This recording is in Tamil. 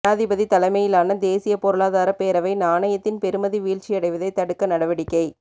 ஜனாதிபதி தலைமையிலான தேசிய பொருளாதார பேரவை நாணயத்தின் பெறுமதி வீழ்ச்சியடைவதை தடுக்க நடவடிக்கை